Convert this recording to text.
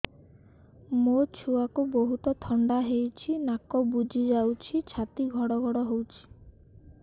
ମୋ ଛୁଆକୁ ବହୁତ ଥଣ୍ଡା ହେଇଚି ନାକ ବୁଜି ଯାଉଛି ଛାତି ଘଡ ଘଡ ହଉଚି